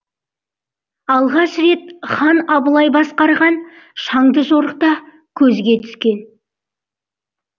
алғаш рет хан абылай басқарған шаңды жорықта көзге түскен